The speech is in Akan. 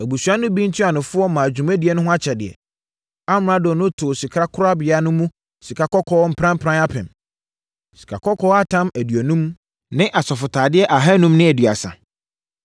Abusua no bi ntuanofoɔ maa dwumadie no ho akyɛdeɛ. Amrado no too sikakorabea no mu sikakɔkɔɔ pranpran apem (1,000), sikakɔkɔɔ atam aduonum (50) ne asɔfotadeɛ ahanum ne aduasa (530).